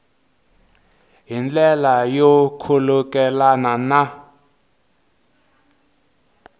hi ndlela yo khulukelana na